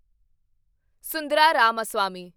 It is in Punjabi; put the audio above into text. ਸੁੰਦਰਾ ਰਾਮਾਸਵਾਮੀ